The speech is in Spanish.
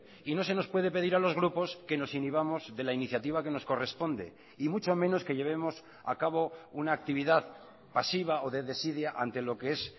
y no se nos puede pedir a los grupos que nos inhibamos de la iniciativa que nos corresponde y mucho menos que llevemos a cabo una actividad pasiva o de desidia ante lo que es